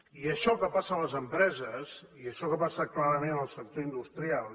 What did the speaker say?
i això que passa a les empreses i això que passa clarament en el sector industrial